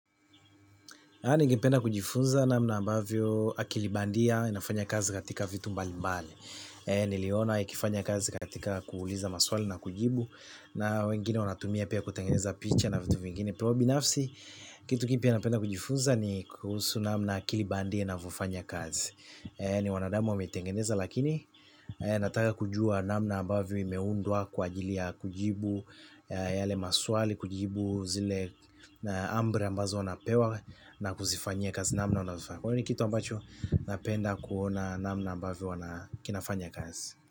Na ningependa kujifunza namna ambavyo akili bandia inafanya kazi katika vitu mbalimbali niliona ikifanya kazi katika kuuliza maswali na kujibu. Na wengine wanatumia pia kutengeneza picha na vitu vingine, kwa hiyo binafsi, kitu kipya napenda kujifunza ni kuhusu namna akili bandia inavyofanya kazi ni wanadamu wameitengeneza lakini nataka kujua namna ambavyo imeundwa kwaajili ya kujibu yale maswali kujibu zile na amri ambazo wanapewa na kuzifanyi kazi namna wavyofanya. Kwahiyo ni kitu ambacho napenda kuona namna ambavyo wana kinafanya kazi.